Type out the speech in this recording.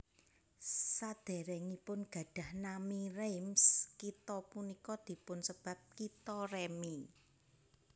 Sadèrèngipun gadhah nami Reims kitha punika dipunsebat Kitha Remi